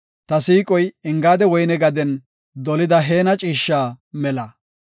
Ta siiqoy, Engaada woyne gaden, dolida heena ciishsha mela.